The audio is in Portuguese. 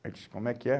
Ele disse, como é que é?